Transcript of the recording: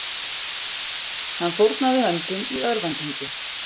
Hann fórnaði höndum í örvæntingu